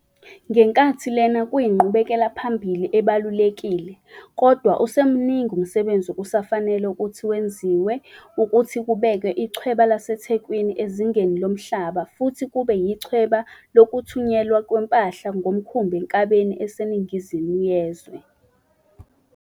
Ngenkathi lena kuyinqubekelaphambili ebalulekile, kodwa usemuningi umsebenzi okusafanele ukuthi wenziwe ukuthi kubekwe ichweba laseThe kwini ezingeni lomhlaba futhi kube yichweba lokuthunyelwa kwempahla ngomkhumbi eNkabeni eseNingizimu Yezwe.